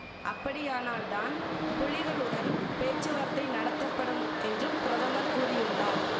அப்படியானால் தான் புலிகளுடன் பேச்சுவார்த்தை நடத்தபடும் என்றும் பிரதமர் கூறியுள்ளார்